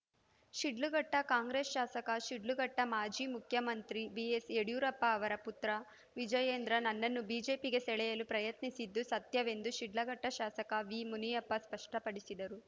ಶಿಡ್ಲಘಟ್ಟಕಾಂಗ್ರೆಸ್‌ ಶಾಸಕ ಶಿಡ್ಲಘಟ್ಟ ಮಾಜಿ ಮುಖ್ಯಮಂತ್ರಿ ಬಿಎಸ್‌ ಯಡಿಯೂರಪ್ಪ ಅವರ ಪುತ್ರ ವಿಜಯೇಂದ್ರ ನನ್ನನ್ನು ಬಿಜೆಪಿಗೆ ಸೆಳೆಯಲು ಪ್ರಯತ್ನಿಸಿದ್ದು ಸತ್ಯವೆಂದು ಶಿಡ್ಲಘಟ್ಟಶಾಸಕ ವಿ ಮುನಿಯಪ್ಪ ಸ್ಪಷ್ಟಪಡಿಸಿದರು